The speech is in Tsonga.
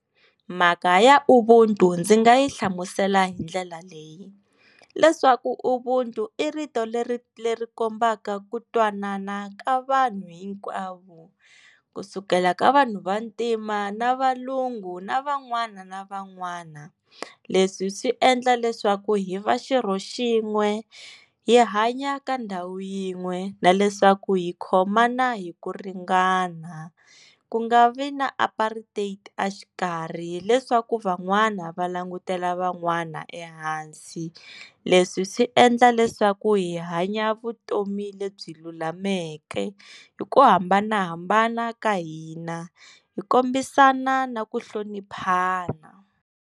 Mhaka ya ubuntu ndzi nga yi hlamusela hi ndlela leyi leswaku ubuntu i rito leri leri kombaka ku twanana ka vanhu hinkwavo kusukela ka vanhu vantima na valungu na van'wana na van'wana leswi swi endla leswaku hi va xirho xin'we hi hanya ka ndhawu yin'we na leswaku hi khomana hi ku ringana ku nga vi na apartheid exikarhi leswaku van'wana va langutela van'wana ehansi leswi swi endla leswaku hi hanya vutomi lebyi lulameke hi ku hambanahambana ka hina hi kombisana na ku hloniphana.